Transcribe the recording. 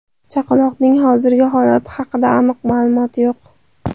Chaqaloqning hozirgi holati haqida aniq ma’lumot yo‘q.